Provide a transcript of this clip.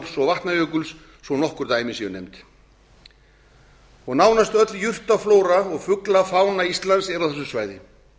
og vatnajökuls svo nokkur dæmi sé nefnd og nánast öll jurtaflóra og fuglafána íslands eru á þessu svæði